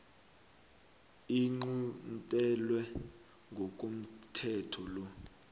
iquntelwe ngokomthetho lo